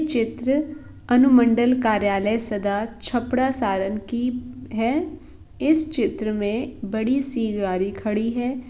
चित्र अनुमण्डल कार्यालय सदा छपड़ा सारण की है इस चित्र मे बड़ी सी गारी खड़ी है ।